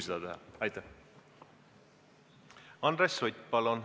Andres Sutt, palun!